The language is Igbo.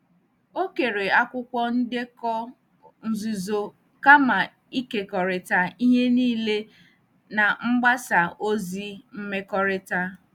Ọ kere akwụkwọ ndekọ nzuzo kama ịkekọrịta ihe niile na mgbasa ozi mmekọrịta.